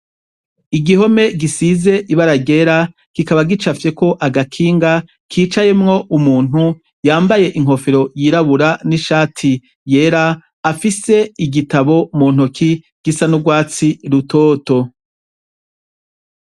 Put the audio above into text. Igihome gisize ibara ryera, kikaba gicafyeko agakinga kicayemwo umuntu yambaye inkofero yirabura n'ishati yera, afise igitabu mu ntoki gisa n'urwatsi rutoto.